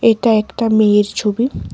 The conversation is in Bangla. এটা একটা মেয়ের ছবি।